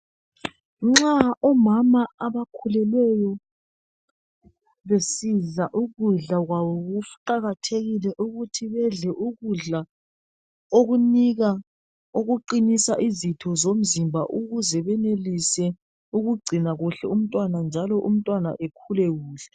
Nxa omama abakhulelweyo besidla ukudla kwabo kuqakathethike ukuthi bedle ukudla okunika okuqinisa izitho zomzimba ukuze benelise ukugcina kuhle umtwana njalo umtwana ekhule kuhle